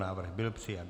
Návrh byl přijat.